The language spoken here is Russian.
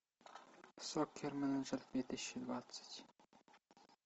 соккер менеджер две тысячи двадцать